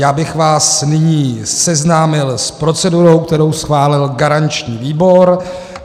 Já bych vás nyní seznámil s procedurou, kterou schválil garanční výbor.